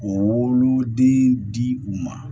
O woloden di u ma